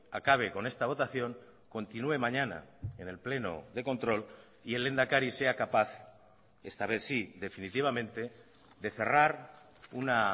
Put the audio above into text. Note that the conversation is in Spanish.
acabe con esta votación continué mañana en el pleno de control y el lehendakari sea capaz esta vez sí definitivamente de cerrar una